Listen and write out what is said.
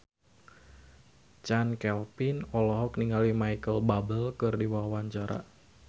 Chand Kelvin olohok ningali Micheal Bubble keur diwawancara